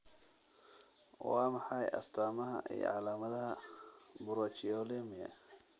Waa maxay astaamaha iyo calaamadaha Brachyolmia?